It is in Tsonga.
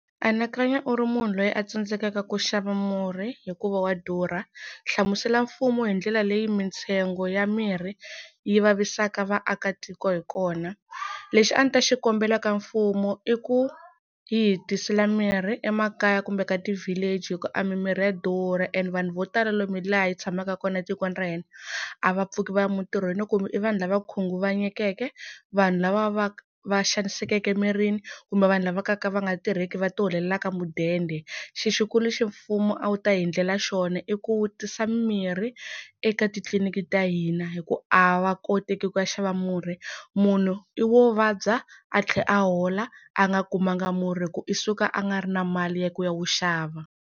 Anakanya u ri munhu loyi a tsandzekaka ku xava murhi, hikuva wa durha hlamusela mfumo hi ndlela leyi mintsengo ya mirhi yi vavisaka vaakatiko hi kona. Lexi a ni ta xikombela ka mfumo i ku yi hi tisela mirhi emakaya kumbe ka ti-village hi ku a mimirhi ya durha. And vanhu vo tala lomu laha hi tshamaka kona etikweni ra hina a va pfuki va ya mintirhweni kumbe i vanhu lava khunguvanyekeke, vanhu lava va va va xanisekeke emirini kumbe vanhu lava kalaka va nga tirheki va ti holelaka mudende. Xi xikulu lexi mfumo a wu ta hi endlela xona i ku tisa mimirhi eka titliliniki ta hina. Hi ku a va koti ku ya xava murhi, munhu i wo vabya a tlhela a hola a nga kumanga murhi hi ku i suka a nga ri na mali ya ku ya wu xava.